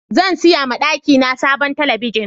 Zan siya ma daki na sabon telibijin.